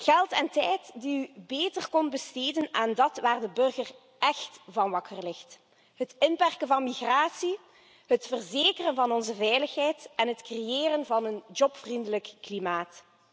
Geld en tijd die u beter kon besteden aan dat waar de burger écht van wakker ligt het inperken van migratie, het verzekeren van onze veiligheid en het creëren van een jobvriendelijk klimaat.